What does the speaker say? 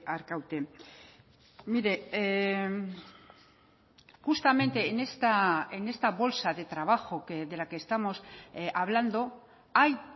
arkaute mire justamente en esta bolsa de trabajo de la que estamos hablando hay